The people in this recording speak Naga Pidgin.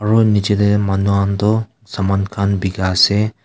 aro niche te manu khan toh saman khan bikai ase.